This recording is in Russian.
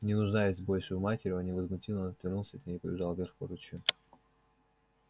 не нуждаясь больше в матери он невозмутимо отвернулся от нее и побежал вверх по ручью